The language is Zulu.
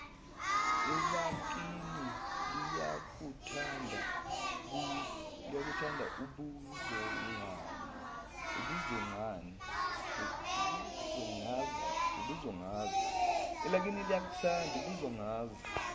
elakini liyakuthanda ubuzongazi